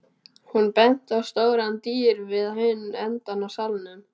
Hún benti á stórar dyr við hinn endann á salnum.